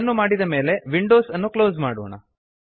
ಅದನ್ನು ಮಾಡಿದ ಮೇಲೆ ವಿಂಡೋ ಅನ್ನು ಕ್ಲೋಸ್ ಮಾಡೋಣ